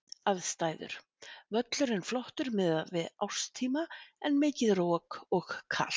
Aðstæður: Völlurinn flottur miðað við árstíma en mikið rok og kalt.